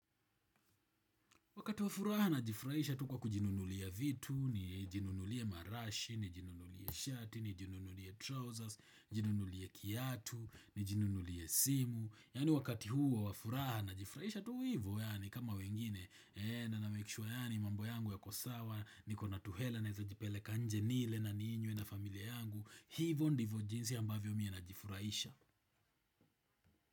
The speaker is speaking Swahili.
Wakati wa furaha najifurahisha tu kwa kujinunulia vitu, nijinunulie marashi, nijinunulie shati, nijinunulie trousers, nijinunulie kiatu, nijinunulie simu. Yani wakati huo wa furaha najifraisha tu hivyo yani kama wengine na na make sure yani mambo yangu yako sawa niko na tuhela naweiza jipeleka nje nile na ninywe na familia yangu. Hivyo ndivyo jinsi ambavyo mi najifurahisha.